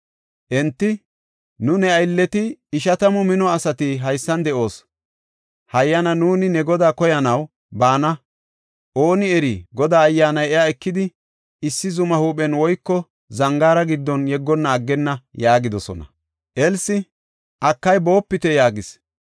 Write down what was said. Enti, “Nuuni ne aylleti ishatamu mino asati haysan de7oos. Hayyana nuuni ne godaa koyanaw baana. Ooni eri, Godaa Ayyaanay iya ekidi, issi zuma huuphen woyko zangaara giddon yeggonna aggenna” yaagidosona. Elsi, “Akay, boopite” yaagis.